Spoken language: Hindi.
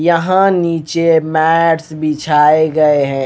यहां नीचे मैट्स बिछाए गए है।